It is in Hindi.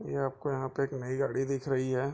ये आपको यहाँ पे एक नई गाड़ी दिख रही है।